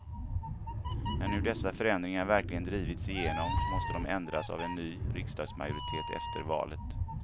När nu dessa förändringar verkligen drivits igenom måste de ändras av en ny riksdagsmajoritet efter valet.